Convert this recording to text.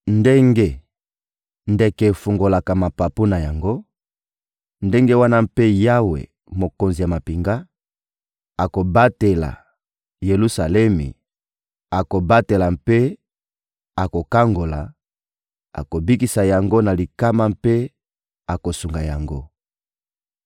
Ndenge ndeke efungolaka mapapu na yango, ndenge wana mpe Yawe, Mokonzi ya mampinga, akobatela Yelusalemi, akobatela mpe akokangola, akobikisa yango na likama mpe akosunga yango.»